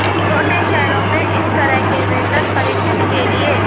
छोटे शहरों में इस तरह के वेतन परिचित के लिए